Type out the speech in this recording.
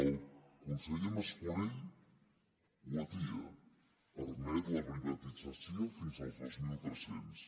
el conseller mas colell ho atia permet la privatització fins als dos mil tres cents